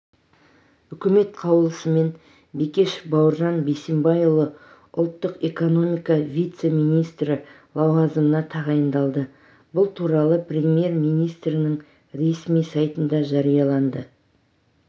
үкіметінің қаулысымен бекешев бауыржан бейсенбайұлы ұлттық экономика вице-министрі лауазымына тағайындалды бұл туралы премьер-министрінің ресми сайтында жарияланды